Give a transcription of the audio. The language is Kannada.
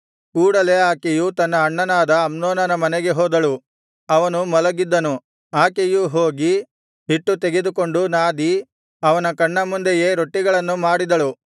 ಕೂಡಲೆ ಆಕೆಯು ತನ್ನ ಅಣ್ಣನಾದ ಅಮ್ನೋನನ ಮನೆಗೆ ಹೋದಳು ಅವನು ಮಲಗಿದ್ದನು ಆಕೆಯು ಹೋಗಿ ಹಿಟ್ಟು ತೆಗೆದುಕೊಂಡು ನಾದಿ ಅವನ ಕಣ್ಣ ಮುಂದೆಯೇ ರೊಟ್ಟಿಗಳನ್ನು ಮಾಡಿದಳು